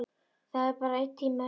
Það er bara einn tími eftir.